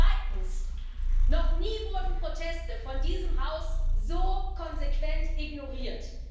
Zweitens Noch nie wurden Proteste von diesem Haus so konsequent ignoriert.